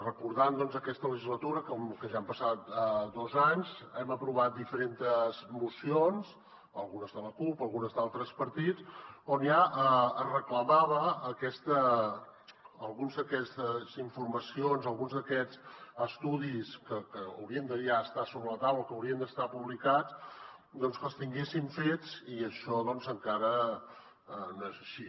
recordant aquesta legislatura que ja han passat dos anys hem aprovat diferentes mocions algunes de la cup algunes d’altres partits on ja es reclamaven algunes d’aquestes informacions alguns d’aquests estudis que haurien de ja estar sobre la taula que haurien d’estar publicats que els tinguéssim fets i això encara no és així